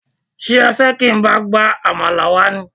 Ṣé o fẹ́ jẹ́ kí n bá ẹ gba àmàlà wá?